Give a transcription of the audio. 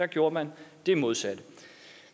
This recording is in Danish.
gjorde man det modsatte